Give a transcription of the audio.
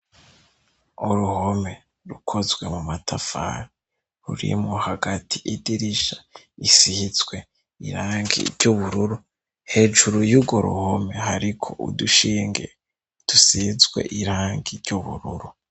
Uruhome rukozwe mu matafari rurimwo hagati idirisha risizwe irangi ry'ubururu hejuru y'urwo ruhome hari ko udushinge dusizwe irangi ry'ubururu.